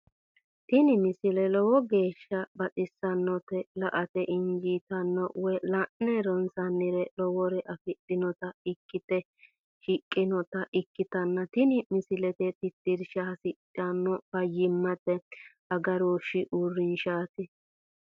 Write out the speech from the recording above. tini misile lowo geeshsha baxissannote la"ate injiitanno woy la'ne ronsannire lowore afidhinota ikkite shiqqinota ikkitanna tini misilera tittirsha hasidhanno fayyimmate agarooshshi uurrinshshaati.